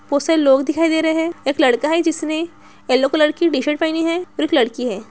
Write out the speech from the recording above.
बहुत सारे लोग दिखाई दे रहे हैं। एक लड़का है जिसने येलो कलर की टी-शर्ट पहनी है और एक लड़की है।